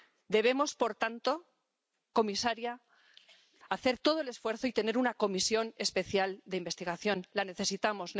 Debemos, por tanto, comisaria, hacer todo el esfuerzo y tener una comisión especial de investigación la necesitamos.